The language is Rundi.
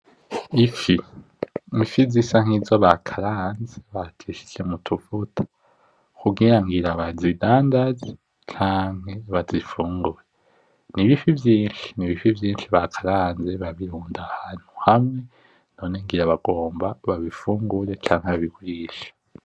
Ifi, ifi zisa nk'izo bakaranze bacishije mu tuvuta kugira ngira bazidandaze canke bazifungure, n'ibifi vyinshi, n'ibifi vyinshi bakaranze babirunda ahantu hamwe none ngira bagomba babifungure canke babigurishe.